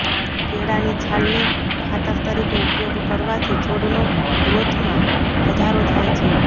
કેળાંની છાલને ખાતર તરીકે ઉપયોગ કરવાથી છોડનો ગ્રોથમા વધારો થાય છે